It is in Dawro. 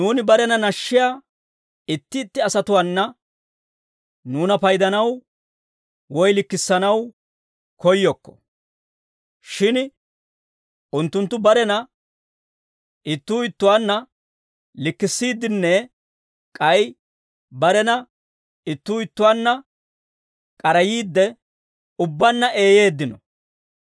Nuuni barena nashshiyaa itti itti asatuwaana nuuna paydanaw woy likkissanaw koyyokko; shin unttunttu barena ittuu ittuwaanna likkissiiddinne k'ay barena ittuu ittuwaanna k'arayiidde, ubbaanna eeyeeddino.